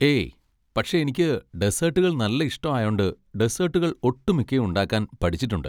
ഏയ്, പക്ഷെ എനിക്ക് ഡെസേട്ടുകൾ നല്ല ഇഷ്ടം ആയോണ്ട് ഡെസേട്ടുകൾ ഒട്ടുമിക്കയും ഉണ്ടാക്കാൻ പഠിച്ചിട്ടുണ്ട്.